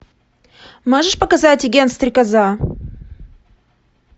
можешь показать агент стрекоза